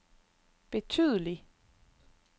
betydelig